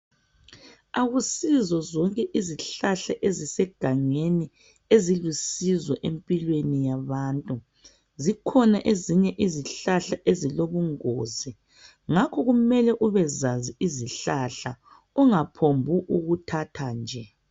Akusizo zonke izihlahla ezisegangeni ezilusizo empilweni yabantu zikhona ezinye izihlahla ezilobungozi ngakho kumele ubezazi izihlahla ungaphokuthatha nje,